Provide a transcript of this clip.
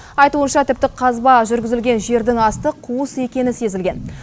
айтуынша тіпті қазба жүргізілген жердің асты қуыс екені сезілген